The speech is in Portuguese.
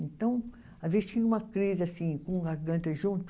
Então, às vezes tinha uma crise assim, com garganta junto.